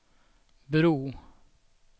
bro